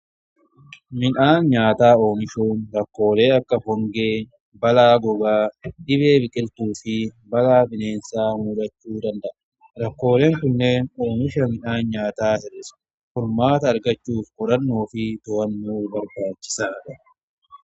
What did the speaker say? Midhaan nyaataa oomishuun rakkoolee akka hongee, balaa gogaa, dhibee biqiltuu fi balaa bineensaa muudachuu danda'a. Rakkooleen kunneen oomisha midhaan nyaataa hir'isa. Furmaata argachuuf qorannoo fi to'annoo barbaachisaadha.